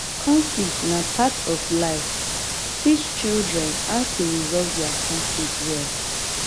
conflict na part of life teach children how to resolve their conflict well